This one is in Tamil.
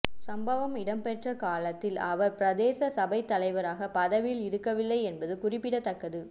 சம்பவம் இடம்பெற்ற காலத்தில் அவர் பிரதேச சபைத்தலைவராக பதவியில் இருக்கவில்லை என்பது குறிப்பிடத்தக்கது